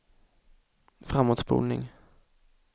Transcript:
framåtspolning